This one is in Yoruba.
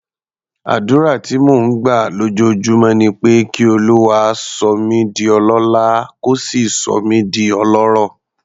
Àdúrà tí mò ń gbà lójoojúmọ́ ni pé kí Olúwa sọ mí di ọlọ́lá, kó sì sọ mí di ọlọ́rọ̀.